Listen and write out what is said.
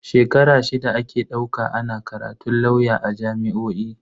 Shekara shida ake dauka ana karatun lauya a jami'o'i.